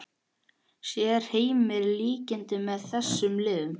Sér Heimir líkindi með þessum liðum?